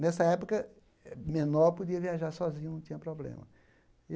Nessa época, menor podia viajar sozinho, não tinha problema.